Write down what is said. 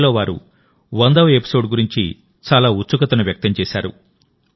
అందులో వారు వందవ ఎపిసోడ్ గురించి చాలా ఉత్సుకతను వ్యక్తం చేశారు